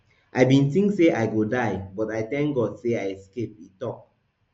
i bin tink say i go die but i thank god say i escape e tok